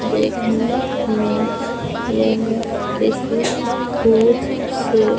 देखने में यह किसी दुध सेव--